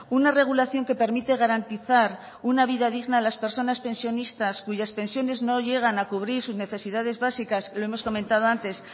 una regulación que permite garantizar una vida digna a las personas pensionistas cuyas pensiones no llegan a cubrir sus necesidades básicas lo hemos comentado antes